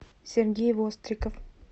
сергей востриков